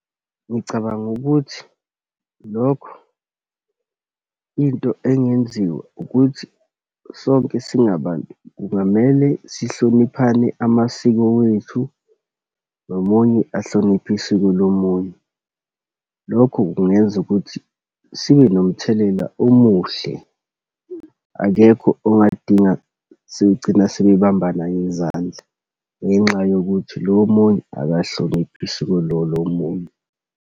Ngicabanga ukuthi lokho into engenziwa ukuthi sonke singabantu kungamele sihloniphane amasiko wethu, nomunye ahloniphe isiko lomunye. Lokho kungenza ukuthi sibe nomthelela omuhle. Akekho ongadinga sebegcina sebebambana ngezandla ngenxa yokuthi lo omunye akahloniphi isiko lo lomunye.